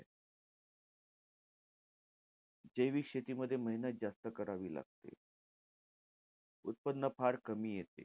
जैविक शेतीमध्ये मेहनत जास्त करावी लागते. उत्पन्न फार कमी येते.